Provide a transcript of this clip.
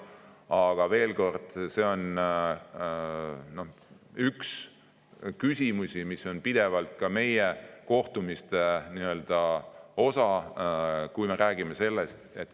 Aga veel kord: see on üks küsimusi, mis on pidevalt meie kohtumiste osa.